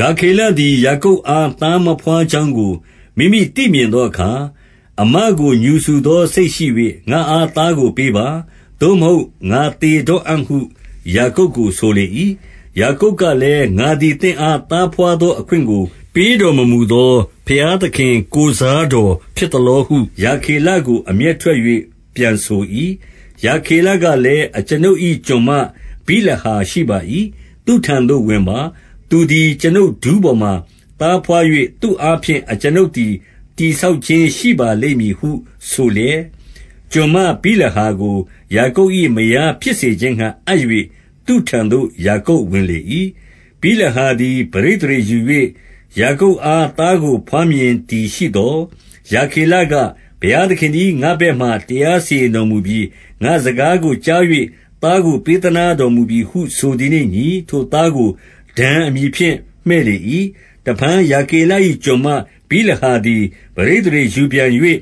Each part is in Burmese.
ရာခေလသည် ယာကုပ်အား သားမဘွား ကြောင်းကို မိမိသိမြင်သောအခါ၊ အစ်မကို ငြူစူသော စိတ်ရှိ၍၊ ငါ့အား သားကို ပေးပါ။ သို့မဟုတ် ငါသေတော့ အံ့ဟု ယာကုပ်ကို ဆိုလေ၏။ 2 ယာကုပ်ကလည်း၊ ငါသည် သင့်အား သားဘွား သောအခွင့်ကို ပေးတော်မမူသော ဘုရားသခင် ကိုယ်စား တော်ဖြစ်သလောဟု၊ ရာခေလကို အမျက်ထွက်၍ ပြန်ဆို ၏။ 3 ရာခေလကလည်း၊ အကျွန်ုပ်၌ ကျွန်မဗိလဟာ ရှိပါ၏။ သူ့ထံသို့ ဝင်ပါ။ သူသည် အကျွန်ုပ်ဒူးပေါ်မှာ သားဘွား၍၊ သူ့အားဖြင့် အကျွန်ုပ်သည် တည်ဆောက် ခြင်းရှိပါလိမ့်မည်ဟု ဆိုလျက်၊ 4 ကျွန်မဗိလဟာကို ယာကုပ်၏မယားဖြစ်စေခြင်း ငှါ အပ်၍၊ သူ့ထံသို့ ယာကုပ်ဝင်လေ၏။ 5 ဗိလဟာသည် ပဋိသန္ဓေယူ၍၊ ယာကုပ်အား သားကို ဘွားမြင်သည်ရှိသော်၊ 6 ရာခေလက၊ ဘုရားသခင်သည် ငါ့ဘက်၌ တရားစီရင်တော်မူပြီ။ ငါ့စကားကိုကြား၍ သားကို ပေးသနားတော်မူပြီဟု ဆိုသည်နှင့်အညီ၊ ထိုသားကို ဒန် အမည်ဖြင့် မှည့်လေ၏။ 7 တဖန် ရာခေလ၏ကျွန်မ ဗိလဟာသည် ပဋိသန္ဓေယူပြန်၍၊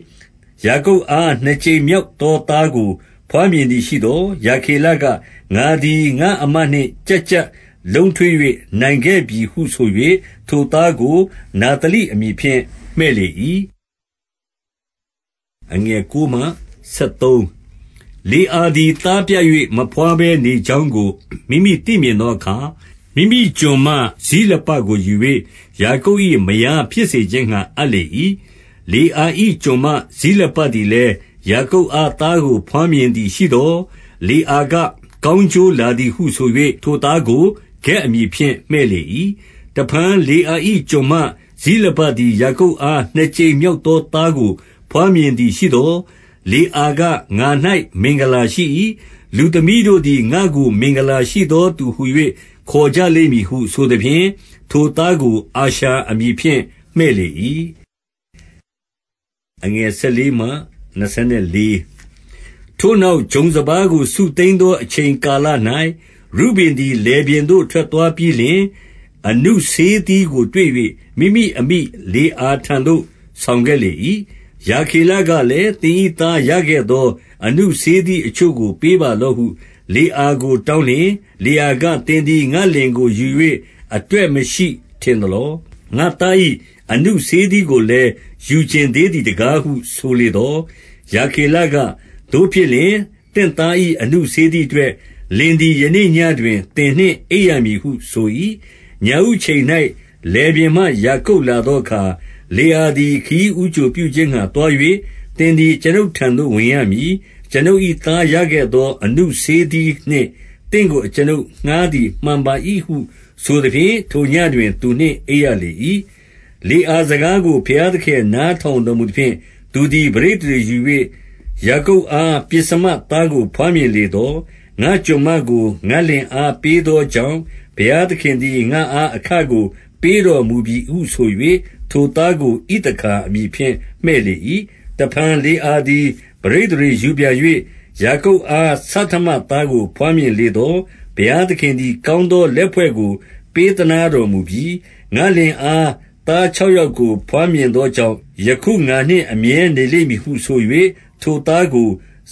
ယာကုပ်အား နှစ်ကြိမ်မြောက်သော သားကိုဘွားမြင်သည်ရှိသော်၊ 8 ရာခေလက၊ ငါသည် ငါ့အစ်မနှင့် ကျပ်ကျပ် လုံးထွေး၍ နိုင်ခဲ့ပြီဟု ဆို၍၊ ထိုသားကို နဿလိအမည်ဖြင့် မှည့်လေ၏။ 9 လေအာသည် သားပြတ်၍ မဘွားဘဲနေ ကြောင်းကို မိမိသိမြင်သောအခါ၊ မိမိကျွန်မ ဇိလပကို ယူ၍၊ ယာကုပ်၏မယားဖြစ်စေခြင်းငှါ အပ်လေ၏။ 10 လေအာ၏ ကျွန်မဇိလပသည်လည်း ယာကုပ် အား သားကိုဘွားမြင်သည်ရှိသော်၊ 11 လေအာက၊ ကောင်းကျိုးလာသည်ဟု ဆို၍၊ ထိုသားကို ဂဒ်အမည်ဖြင့် မှည့်လေ၏။ 12 တဖန်လေအာ၏ ကျွန်မဇိလပသည် ယာကုပ် အား နှစ်ကြိမ်မြောက်သောသားကို ဘွားမြင်သည် ရှိသော်၊ 13 လေအားက၊ ငါ၌ မင်္ဂလာရှိ၏။ လူသမီးတို့သည် ငါ့ကိုမင်္ဂလာရှိသောသူဟူ၍ ခေါ်ကြလိမ့်မည်ဟု ဆိုသဖြင့်၊ ထိုသားကို အာရှာအမည်ဖြင့် မှည့်လေ၏။ 14 ထိုနောက်၊ ဂျုံစပါးကို စုသိမ်းသော အချိန် ကာလ၌၊ ရုဗင်သည် လယ်ပြင်သို့ထွက်သွားပြီးလျှင်၊ အနု ဆေးသီးကိုတွေ့၍၊ မိမိအမိလေအာထံသို့ ဆောင်ခဲ့လေ ၏။ ရာခေလကလည်း၊ သင်၏သား ရခဲ့သော အနုဆေးသီး အချို့ကို ပေးပါလော့ဟု၊ လေအာကိုတောင်းလျှင်၊ 15 လေအာက၊ သင်သည် ငါ့လင်ကိုယူ၍ အတွက် မရှိထင်သလော။ ငါ့သား၏ အနုဆေးသီးကိုလည်း ယူချင် သေးသည်တကားဟု ဆိုလေသော်၊ ရာခေလက၊ သို့ဖြစ် လျှင်၊ သင့်သား၏ အနုဆေးသီးအတွက်၊ လင်သည် ယနေ့ ညဉ့်တွင် သင်နှင့်အိပ်ရမည်ဟု ဆို၏။ 16 ညဦးအချိန်၌၊ လယ်ပြင်မှယာကုပ်လာသော အခါ၊ လေအာသည် ခရီးဦးကြိုပြုခြင်းငှါ သွား၍၊ သင် သည် အကျွန်ုပ်ထံသို့ ဝင်ရမည်။ အကျွန်ုပ် ၏သားရခဲ့ သော အနုဆေးသီးနှင့် သင့်ကို အကျွန်ုပ်ငှါးသည် မှန်ပါ ၏ဟုဆိုသဖြင့်၊ ထိုနေ့ညဉ့်တွင် သူနှင့်အိပ်ရလေ၏။ 17 လေအာစကားကို ဘုရားသခင်နားထောင် တော်မူသဖြင့်၊ သူသည် ပဋိသန္ဓေယူ၍၊ ယာကုပ်အား ပဥ္စမသားကို ဘွားမြင်လေသော်၊ 18 ငါ့ကျွန်မကို ငါ့လင်အား ပေးသောကြောင့်၊ ဘုရားသခင်သည် ငါ့အား အခကို ပေးတော်မူပြီဟုဆို၍၊ ထိုသားကို ဣသခါအမည်ဖြင့် မှည့်လေ၏။ 19 တဖန် လေအာသည် ပဋိသန္ဓေယူပြန်၍၊ ယာကုပ်အား ဆဌမသားကို ဘွားမြင်လေသော်၊ 20 ဘုရားသခင်သည် ကောင်းသောလက်ဖွဲ့ကို ပေးသနားတော်မူပြီ။ ငါ့လင်အား သားခြောက်ယောက်ကို ဘွားမြင်သောကြောင့်၊ ယခုငါနှင့် အမြဲနေလိမ့်မည်ဟု ဆို၍၊ ထိုသားကို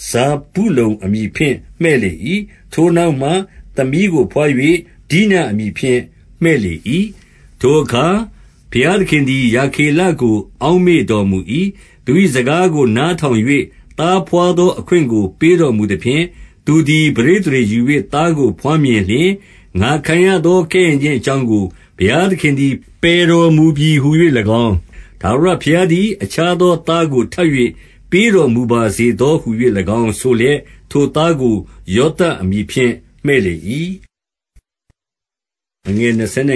ဇာဗုလုန် အမည်ဖြင့် မှည့်လေ၏။ 21 ထိုနောက်မှ သမီးကိုဘွား၍၊ ဒိနအမည်ဖြင့် မှည့်လေ၏။ 22 ထိုအခါ ဘုရားသခင်သည် ရာခေလကို အောက်မေ့တော်မူ၏။ သူ၏စကားကို နားထောင်၍၊ သားဘွားသောအခွင့်ကို ပေးတော်မူသဖြင့်၊ 23 သူသည် ပဋိသန္ဓေယူ၍ သားကိုဘွားမြင်လျှင်၊ ငါခံရသော ကဲ့ရဲ့ခြင်းအကြောင်းကို ဘုရားသခင်သည် ပယ်တော်မူပြီဟူ၍၎င်း၊ 24 ထာဝရဘုရားသည် အခြားသောသားကို ထပ်၍ ပေးတော်မူပါစေသောဟူ၍၎င်းဆိုလျက်၊ ထိုသားကို ယောသပ်အမည်ဖြင့် မှည့်လေ၏။ 25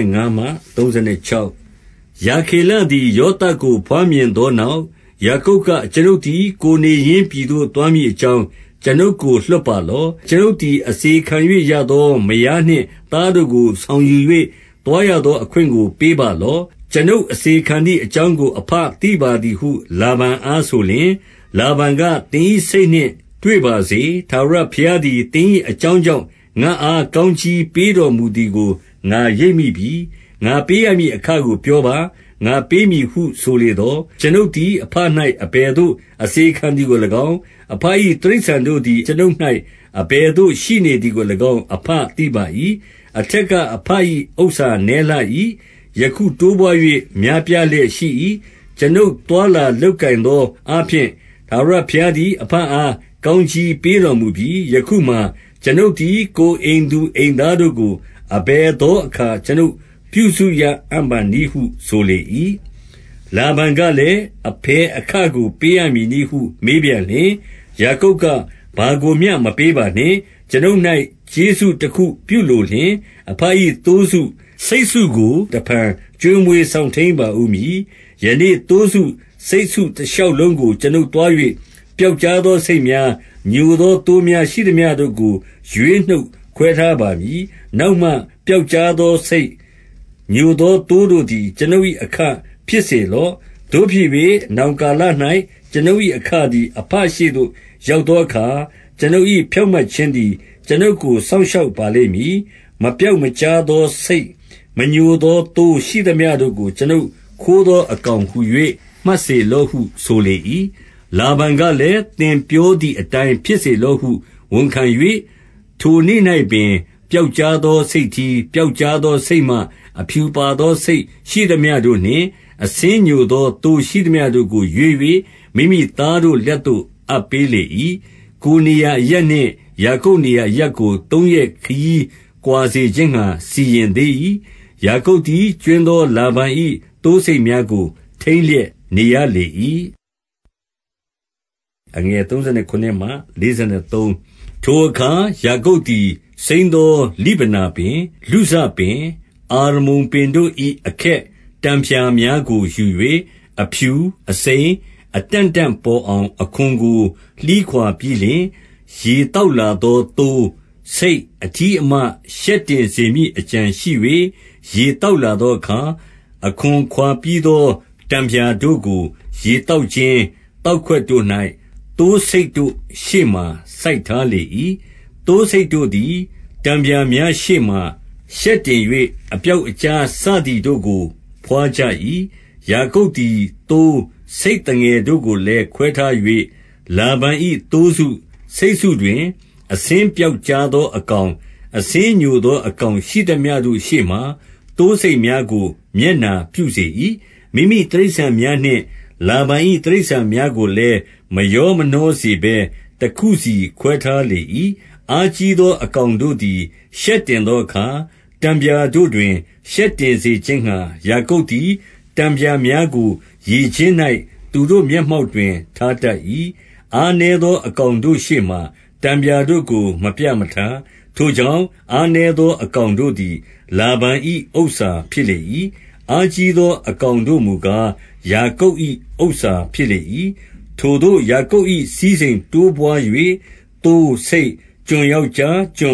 ရာခေလသည် ယောသပ်ကို ဘွားမြင်ပြီးသော နောက်၊ ယာကုပ်က၊ အကျွန်ုပ်သည် ကိုယ်နေရင်းပြည်သို့ သွားမည်အကြောင်း အကျွန်ုပ်ကို လွှတ်ပါလော့။ 26 ကျွန်ုပ်သည် အစေခံ၍ရသော မယားနှင့်သား တို့ကို ဆောင်ယူ၍၊ သွားရသောအခွင့်ကို ပေးပါလော့။ ကျွန်ုပ်အစေခံသည်အကြောင်းကို အဘသိပါသည်ဟု လာဗန်အားဆိုလျှင်၊ 27 လာဗန်က၊ သင်၏စိတ်နှင့် တွေ့ပါစေ။ ထာဝရ ဘုရားသည် သင်၏အကြောင်းကြောင့် ငါ့အား ကောင်း ကြီးပေးတော်မူသည်ကို ငါရိပ်မိပြီ။ 28 ငါပေးရမည်အခကို ပြောပါ၊ ငါပေးမည်ဟု ဆိုလေသော်၊ 29 ကျွန်ုပ်သည် အဘ၌ အဘယ်သို့ အစေခံသည် ကို၎င်း အဘ၏တိရစ္ဆာန်တို့သည် ကျွန်ုပ်၌အဘယ်သို့ ရှိနေသည်ကို၎င်း အဘသိပါ၏။ 30 အထက်က အဘ၏ဥစ္စာနည်းလှ၏။ ယခု တိုးပွါး၍ များပြားလျက်ရှိ၏။ ကျွန်ုပ်သွားလာလုပ် ကိုင်သောအားဖြင့်၊ ထာဝရဘုရားသည် အဘအား ကောင်းကြီးပေးတော်မူပြီ။ ယခုမှာ၊ ကျွန်ုပ်သည် ကိုယ် အိမ်သူ အိမ်သားတို့ကို အဘယ်သောအခါ ကျွန်ုပ်ပြုစု ရပါအံ့နည်းဟု ဆိုလေ၏။ 31 လာဗန်ကလည်း၊ အဘယ်အခကို ပေးရမည် နည်းဟု မေးပြန်လျှင်၊ ယာကုပ်က၊ ဘာကိုမျှမပေးပါနှင့်၊ ကျွန်ုပ်၌ကျေးဇူးတခု ပြုလိုလျှင်၊ အဘ၏သိုးစု၊ ဆိတ်စုကို တဖန်ကျွေးမွေးစောင့်ထိန်းပါဦးမည်။ 32 ယနေ့သိုးစု၊ ဆိတ်စုတရှောက်လုံးကို ကျွန်ုပ် သွား၍၊ ပြောက်ကျား သောဆိတ်များ ညိုသော သိုးများ၊ ရှိသမျှတို့ကိုရွေးနှုတ်ခွဲထားပါမည်။ နောက်မှ ပြောက်ကျားသောဆိတ်၊ ညိုသောသိုးတို့သည် ကျွန်ုပ်၏ အခ ဖြစ်စေလော့။ 33 သို့ဖြစ်၍၊ နောင်ကာလ၌ ကျွန်ုပ်၏အခသည်၊ အဘရှေ့သို့ ရောက်သောအခါ၊ ကျွန်ုပ်၏ဖြောင့်မတ်ခြင်း သည် ကျွန်ုပ်ကို စောင့်ရှောက်ပါလိမ့်မည်။ မပြောက် မကျားသော ဆိတ်၊ မညိုသောသိုး ရှိသမျှတို့ကို၊ ကျွန်ုပ်ခိုး သော အကောင်ဟူ၍ မှတ်စေလော့ဟု ဆိုလေ၏။ 34 လာဗန်ကလည်း၊ သင်ပြောတိုင်းဖြစ်လော့ဟု ဝန်ခံ၍၊ ထိုနေ့၌ပင်၊ ပြောက်ကျားသော ဆိတ်ထီး၊ ပြောက်ကျားသောဆိတ်မ၊ 35 အဖြူပါသော ဆိတ်ရှိသမျှတို့နှင့်၊ အဆင်းညို သော သိုးရှိသမျှတို့ကိုရွေး၍၊ မိမိသားတို့လက်သို့ အပ်ပေး လေ၏။ 36 ကိုယ်နေရာ အရပ်နှင့်၊ ယာကုပ်နေရာအရပ်ကို သုံးရက်ခရီး ကွာစေခြင်းငှါ စီရင်သေး၏။ ယာကုပ်သည် ကြွင်းသော လာဗန်၏သိုးဆိတ်များကို ထိန်းလျက် နေရ လေ၏။ 37 ထိုအခါ ယာကုပ်သည်၊ စိမ်းသောလိဗနာပင်၊ လုဇပင်၊ အာရမုန်ပင်တို့၏ အခက်တံဖျားများကိုယူ၍၊ အဖြူ၊ အစိမ်း၊ အတန့်တန့်ပေါ်အောင် အခွံကို လှီးခွာ ပြီးလျှင်၊ 38 ရေသောက်လာသောသိုး၊ ဆိတ်အထီးအမ ရှက်တင်စေမည်အကြံရှိ၍၊ ရေသောက်လာသောအခါ၊ အခွံခွာပြီးသော တံဖျာတို့ကို ရေသောက်ကျင်း၊ သောက် ခွက်တို့၌ သိုးဆိတ်တို့ ရှေ့မှာစိုက်ထားလေ၏။ 39 သိုးဆိတ်တို့သည် တံဖျာများရှေ့မှာ ရှက်တင်၍၊ အပြောက်အကျား စသည်တို့ကို ဘွားကြ၏။ 40 ယာကုပ်သည် သိုး၊ ဆိတ်သငယ်တို့ကိုလည်း ခွဲထား၍၊ လာဗန်၏သိုးစု၊ ဆိတ်စုတွင် အဆင်းပြောက် ကျားသော အကောင်၊ အဆင်းညိုသော အကောင်ရှိသမျှ တို့ ရှေ့မှာ သိုးဆိတ်များကိုမျက်နှာပြုစေ၏။ မိမိတိရစ္ဆာန် များနှင့်လာဗန်၏ တိရစ္ဆာန်များကိုလည်း မရောမနှော စေဘဲ၊ တစုစီခွဲထားလေ၏။ 41 အားကြီးသောအကောင်တို့သည် ရှက်တင် သောအခါ၊ တံဖျာတို့တွင် ရှက်တင်စေခြင်းငှါ၊ ယာကုပ် သည် တံဖျာများကို ရေကျင်း၌၊ သူတို့ မျက်မှောက်တွင် ထားတတ်၏။ 42 အားနည်းသောအကောင်တို့ရှေမှာ တံဖျာတို့ကို မပြမထား။ ထိုကြောင့် အားနည်းသောအကောင်တို့သည် လာဗန်၏ဥစ္စာဖြစ်လေ၏။ အားကြီးသော အကောင်တို့မူ ကား၊ ယာကုပ်၏ ဥစ္စာဖြစ်လေ၏။ 43 ထိုသို့ယာကုပ်၌ စည်းစိမ်တိုးပွား၍၊ သိုး၊ဆိတ်၊ ကျွန်ယောက်ျား၊ ကျွ